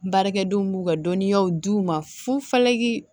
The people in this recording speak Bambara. Baarakɛdenw b'u ka dɔnniyaw di u ma fufalaki